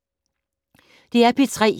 DR P3